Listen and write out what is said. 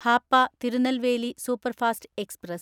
Hapa Tirunelveli superfast express